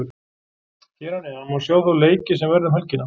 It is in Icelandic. Hér að neðan má sjá þá leiki sem verða um helgina.